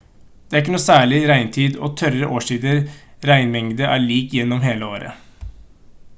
det er ikke noe særlig «regntid» og «tørre» årstider:-regnmengden er lik gjennom hele året